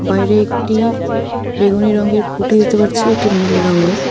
বাইরে একটি বেগুনি রঙের খুঁটি দেখতে পারছি একটি নীল রঙের --